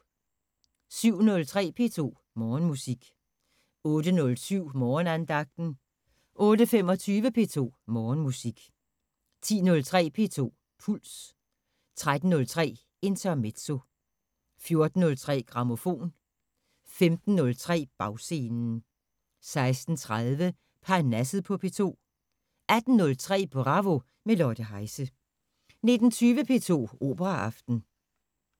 07:03: P2 Morgenmusik 08:07: Morgenandagten 08:25: P2 Morgenmusik 10:03: P2 Puls 13:03: Intermezzo 14:03: Grammofon 15:03: Bagscenen 16:30: Parnasset på P2 18:03: Bravo – med Lotte Heise 19:20: P2 Operaaften